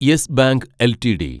yes Bank LTD